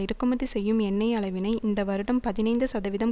இறக்குமதி செய்யும் எண்ணெய் அளவினை இந்த வருடம் பதினைந்து சதவீதம்